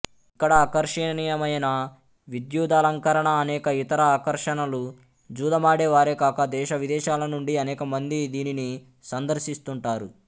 ఇక్కడ ఆకర్షణీయమైన విద్యుదలంకరణ అనేక ఇతర ఆకర్షణలు జూదమాడే వారే కాక దేశవిదేశాల నుండి అనేకమంది దీనిని సందర్శిస్తుంటారు